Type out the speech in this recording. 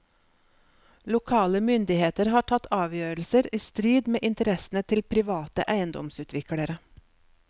Lokale myndigheter har tatt avgjørelser i strid med interessene til private eiendomsutviklere.